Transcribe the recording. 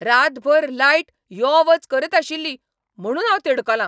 रातभर लायट यो वच करत आशिल्ली म्हणून हांव तिडकलां.